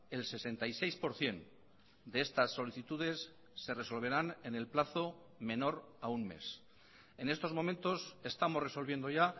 el sesenta y seis por ciento de estas solicitudes se resolverán en el plazo menor a un mes en estos momentos estamos resolviendo ya